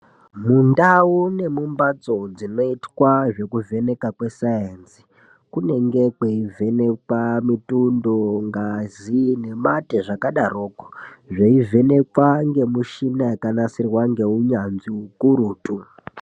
Mundau nemumbatso dzinoitwa zvekuvhenekwa kwesainzi kunenge kweivhenekwa mitundo ngazi nemate zvakadaroko zveivhenekwa ngemishina yakanasirwa nehunyanzvi ukurutu.